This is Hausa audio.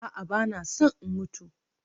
A'a, ba na son in mutu